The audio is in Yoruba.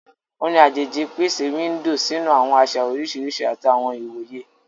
Orin ajeji n pese window sinu awọn aṣa oriṣiriṣi ati awọn iwoye.